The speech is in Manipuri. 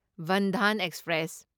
ꯕꯟꯙꯥꯟ ꯑꯦꯛꯁꯄ꯭ꯔꯦꯁ